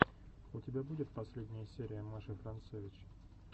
у тебя будет последняя серия маши францевич